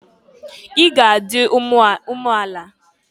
I ga adị umeala!